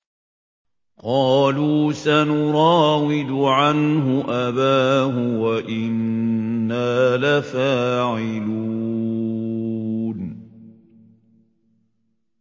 قَالُوا سَنُرَاوِدُ عَنْهُ أَبَاهُ وَإِنَّا لَفَاعِلُونَ